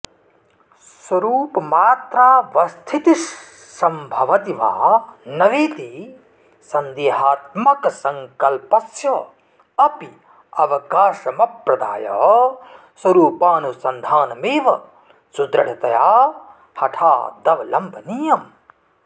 स्वरूपमात्रावस्थितिस्सम्भवति वा न वेति सन्देहात्मक सङ्कल्पस्याप्यवकाशमप्रदाय स्वरूपानुसन्धानमेव सुदृढतया हठादवलम्बनीयम्